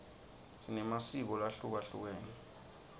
sinemasiko lahlukehlukene